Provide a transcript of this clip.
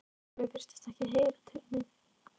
En Sölvi virtist ekki heyra til mín.